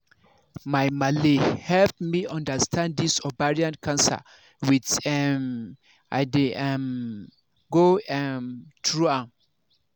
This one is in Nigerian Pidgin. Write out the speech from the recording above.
my malle help me understand this ovarian cancer when um i dey um go um through am